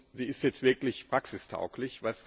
Sie ist jetzt wirklich praxistauglich.